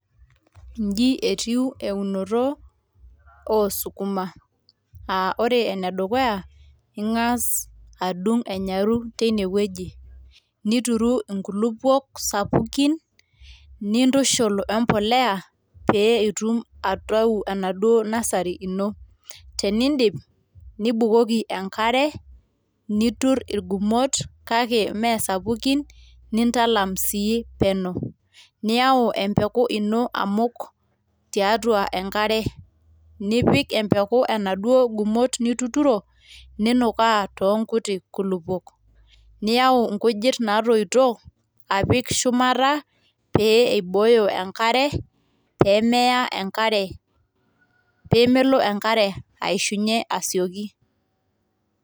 Inji etiu eunoto oosukuma aa ore ene dukuya ingas adung enyaru teine wueji nituru inkulupuok sapukin ,nintushul we mpolea pe itum aitayu enaduoo nursery ino, tenidip nibukoki enkare, nitur irgumot kake mme sapukin nintalam sii peno ,niyau empeku ino amuk tiatua enkare ,nipik empeku enaduoo gumot nituturo ninukaa too nkuti kulupuok ,niyau nkujit natoito apik shumata pee eibooyo enkare pemeya enkare pemelo enkare aishunye asioki .